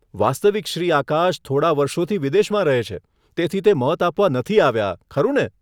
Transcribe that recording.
વાસ્તવિક શ્રી આકાશ થોડા વર્ષોથી વિદેશમાં રહે છે, તેથી તે મત આપવા નથી આવ્યા, ખરું ને?